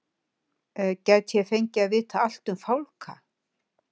Gæti ég fengið að vita allt um fálka?